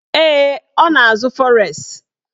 Ee, ọ na-azụ fọres